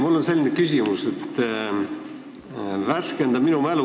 Mul on selline palve, et värskenda mu mälu.